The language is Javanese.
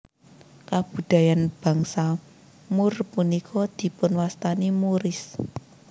Kabudayaan bangsa Moor punika dipunwastani Moorish